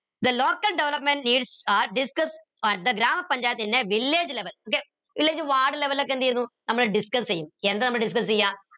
the local development is are discussed at grama panchayat in a village level ഇല്ലെങ്കി ward level ഒക്കെ എന്തെയ്തു നമ്മൾ discuss എയും എന്താ നമ്മൾ discuss എയ